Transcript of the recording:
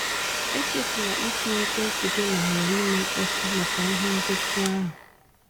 Echefula itinye ekwentị gị na ‘ghara ime mkpọtụ’ maka ihe ngosi ahụ.